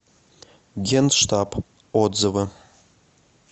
генштаб отзывы